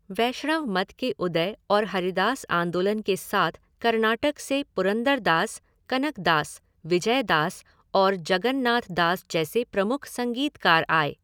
वैष्णव मत के उदय और हरिदास आंदोलन के साथ कर्नाटक से पुरंदरदास, कनकदास, विजयदास और जगन्नाथदास जैसे प्रमुख संगीतकार आए।